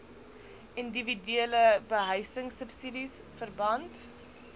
indiwiduele behuisingsubsidies verband